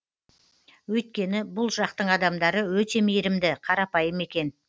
өйткені бұл жақтың адамдары өте мейірімді қарапайым екен